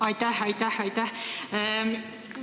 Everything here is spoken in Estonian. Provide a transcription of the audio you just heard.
Aitäh-aitäh-aitäh!